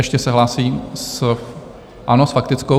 Ještě se hlásí, ano, s faktickou.